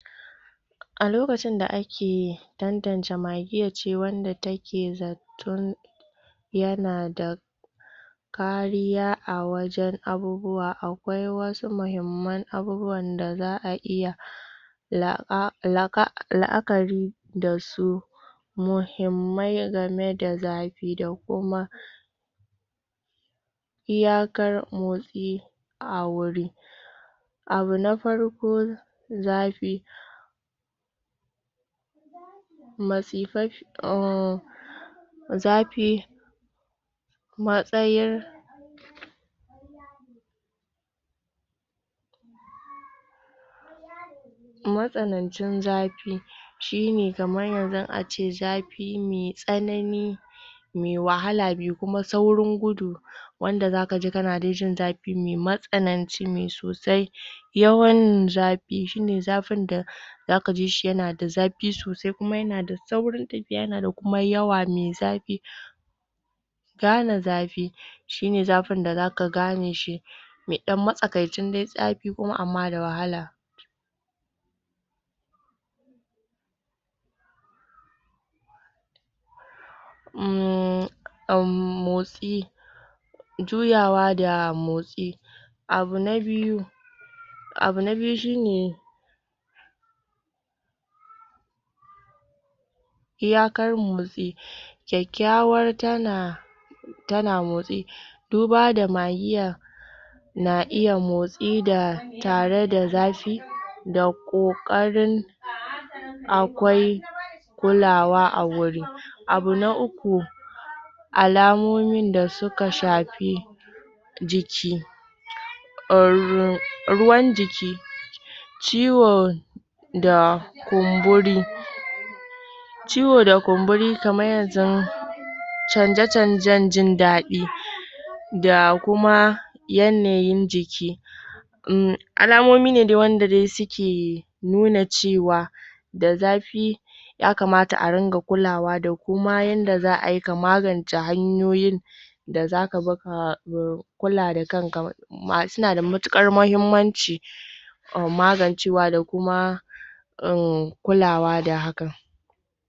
A lokacin da ake dandance magiyan ce wanda ta ke zaton ya na da kariya a wajen abubuwa, akwai wasu mahiman abubuwan da za a iya la'akari da su muhimmai game da zafi da kuma iyakar motsi a wuri abu na farko zafi masifafe zafi matsayar matsanancin zafi shi ne kaman yanzu, a ce zafi mai tsanani mai wahala, mai kuma saurin gudu wanda za ka ji ka na dai jin zafi mai matsananci, mai sosai yawan zafi shi ne, zafin da za ka ji shi, ya na da zafi sosai, kuma ya na da saurin tafiya, ya na da kuma yawa mai zafi gane zafi shi ne zafin da za ka gane shi mai dan matsakaicin zafi kuma ama da wahala, motsi juyawa da motsi abu na biyu abu na biyu shi ne iyakar motsi kyakyauwan ta na ta na motsi duba da magiya na iya motsi da tare da zafi da kokarin akwai kulawa a wuri abu na uku alamomin da su ka shafi jiki ruwan jiki ciwo da kumburi ciwo da kumburi kaman yanzun change changen jin dadi da kuma yanayin jiki alamomi ne dai, wanda dai su ke nuna cewa da zafi ya kamata a runga kulawa da ko ma yanda za ayi, ka magance hanyoyin da za ka zo ka kula da kan ka su na da mutukar mahimanci a magance wa da kuma kula wa da hakan